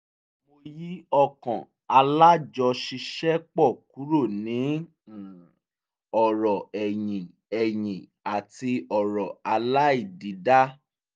mo yí ọkàn alájọṣiṣẹ́pọ̀ kúrò ní um ọrọ̀ ẹ̀yìn ẹ̀yìn àti ọ̀rọ̀ aláìdídá